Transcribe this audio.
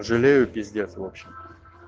жалею пиздец в общем